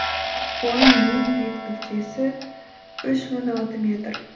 оның ең биік нүктесі үш мың алты метр